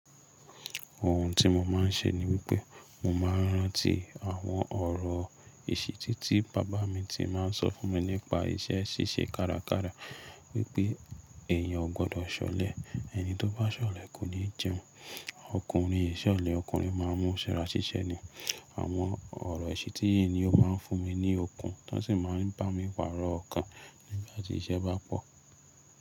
Ohun tí mo máa ń ṣe ni wípé mo máa ń rántí àwọn ọ̀rọ̀ ìṣìtí tí bàbá mi ti máa ń sọ fún mi nípa iṣẹ́ ṣíṣe kárakára wípé èèyàn ò gbọdọ̀ ṣọlẹ̀, ẹni tó bá ṣọlẹ̀ kò ní jẹun. Ọkùnrin ìṣọlẹ̀ ọkùnrin máa mú ṣẹrá ṣíṣe ni. Àwọn ọ̀rọ̀ ìṣìtí yìí ni ó máa ń fún mi ní okun, tọ́ sì máa ń bá mi pàró òkan nígbà tí iṣẹ́ bá pọ̀.